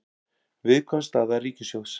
Viðkvæm staða ríkissjóðs